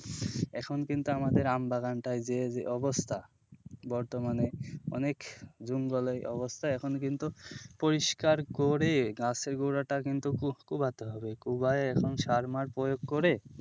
এখন কিন্তু আমাদের আম বাগানটায় যে অবস্থা বর্তমানে অনেক জঙ্গলের অবস্থা এখন কিন্তু পরিষ্কার করে গাছের গোড়াটা কিন্তু কোবতে হবে, কোবায়ে এখন সার মার প্রয়োগ করে,